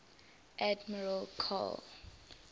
admiral karl